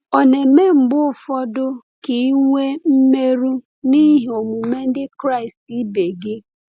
Ọ̀ na - eme mgbe ụfọdụ ka i nwee mmerụ n’ihi omume ndị Kraịst ibe gị?